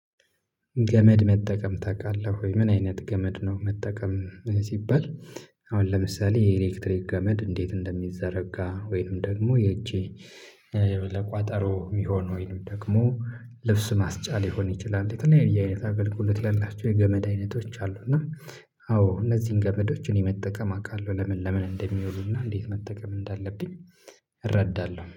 ገመድ መጠቀም ታውቃለህ ወይ? ምን አይነት ገመድ ነው መጠቀም። ሲባል አሁን ለምሳሌ የኤሌክትሪክ ገመድ እንዴት እንደሚዘረጋ ወይንም ደግሞ የእጄ ለቋጠሮ የሚሆን ወይንም ደግሞ ልብስ ማስጫ ሊሆን ይችላል የተለያየ አይነት አገልግሎት ያላቸው የገመድ አይነቶች አሉ። እና እነዚህን ገመዶችን የመጠቀም አውቃለሁ። ለምን ለምን እንደሚውሉና እንዴት መጠቀም እንዳለብኝ እረዳለሁ